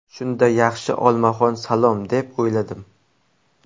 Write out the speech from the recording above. Shunda, ‘yaxshi, olmaxon salom’ deb o‘yladim.